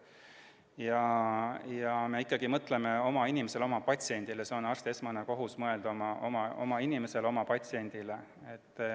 Me mõtleme ikkagi oma inimesele, oma patsiendile, see on arsti esmane kohus – mõelda oma inimesele, oma patsiendile.